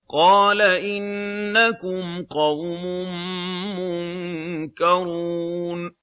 قَالَ إِنَّكُمْ قَوْمٌ مُّنكَرُونَ